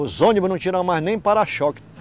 Os ônibus não tinham mais nem para-choque.